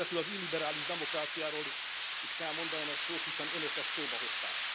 És végezetül az illiberális demokráciáról is kell mondanom egy szót, hiszen Önök ezt szóba hozták.